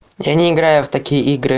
я не играю в такие игры